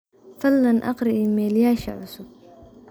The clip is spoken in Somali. fadhlan aqri iimalyaasheyda cusub